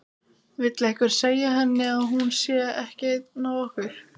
Vill einhver segja henni að hún sé ekki ein af okkur.